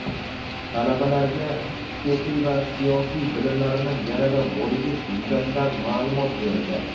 talabalarga huquqiy va siyosiy bilimlarini yanada boyitish yuzasidan maʼlumot berildi.